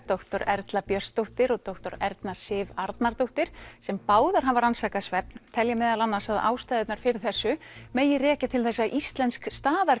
doktor Erla Björnsdóttir og doktor Erna Sif Arnardóttir sem báðar hafa rannsakað svefn telja meðal annars að ástæðurnar fyrir þessu megi rekja til þess að íslensk